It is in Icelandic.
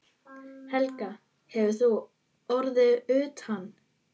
Helga: Hefur þú orðið útundan?